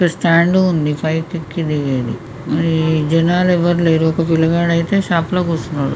Stand ఉంది పైకి ఎక్కి దిగేది జనాలు ఎవరు లేరు ఒక పిల్లగాడైతే షాప్ లో కూర్చున్నాడు.